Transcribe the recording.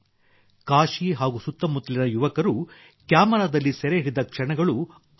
ಕಾಶಿ ಹಾಗೂ ಸುತ್ತಮುತ್ತಲಿನ ಯುವಕರು ಕ್ಯಾಮರಾದಲ್ಲಿ ಸೆರೆ ಹಿಡಿದ ಕ್ಷಣಗಳು ಅದ್ಭುತ